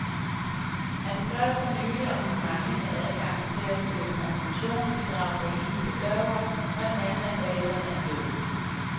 Han skrev for nylig om den manglende adgang til at søge konfirmationsbidrag for enlige forsørgere, når den anden af forældrene er død.